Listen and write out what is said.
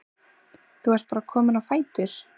Þú ert bara kominn á fætur?